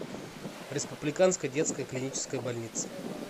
республиканская детская клиническая больница